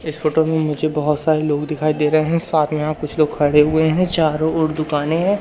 इस फोटो में मुझे बहोत सारे लोग दिखाई दे रहे हैं साथ में यहां कुछ लोग खड़े हुए हैं चारों ओर दुकानें हैं।